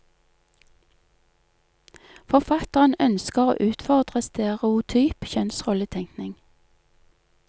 Forfatteren ønsker å utfordre stereotyp kjønnsrolletenkning.